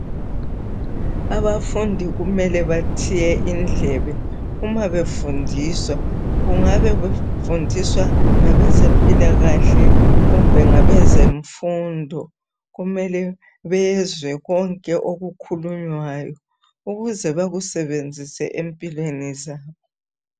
Abafundi kumele bathiye indlebe uma befundiswa. Kngabe befundiswa ngabezempilakahle, kumbe ngabezemfundo,. Kumele bezwe konke okukhulunywayo, ukuze bekusebenzise empilweni zabo.